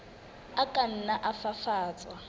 a ka nna a fafatswa